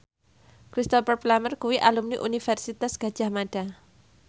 Cristhoper Plumer kuwi alumni Universitas Gadjah Mada